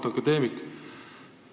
Auväärt akadeemik!